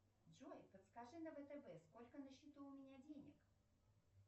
джой подскажи на втб сколько на счету у меня денег